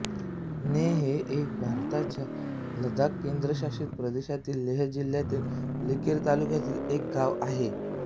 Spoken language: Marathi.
नेय हे एक भारताच्या लडाख केंद्रशासित प्रदेशातील लेह जिल्हातील लिकीर तालुक्यातील एक गाव आहे